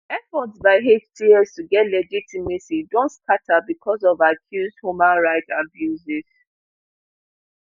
efforts by hts to get legitimacy don scata bicos of accused human rights abuses